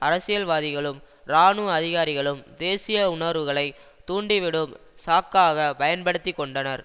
அரசியல்வாதிகளும் இராணுவ அதிகாரிகளும் தேசிய உணர்வுகளைத் தூண்டிவிடும் சாக்காகப் பயன்படுத்திக்கொண்டனர்